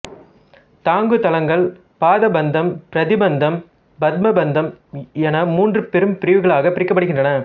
தாங்குதளங்கள் பாதபந்தம் பிரதிபந்தம் பத்மபந்தம் என மூன்று பெரும்பிரிவுகளாகப் பிரிக்கப்படுகின்றன